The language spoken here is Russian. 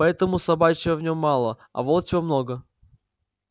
поэтому собачьего в нём мало а волчьего много